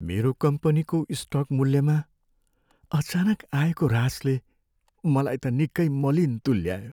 मेरो कम्पनीको स्टक मूल्यमा अचानक आएको ह्रासले मलाई त निकै मलिन तुल्यायो।